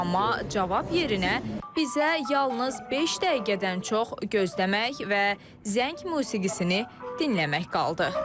Amma cavab yerinə bizə yalnız beş dəqiqədən çox gözləmək və zəng musiqisini dinləmək qaldı.